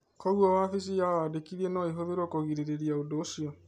Kogũo wafĩcĩ ya wandĩkĩthĩa no ĩhũthĩke kũgirĩrĩria ũndũ ũcĩo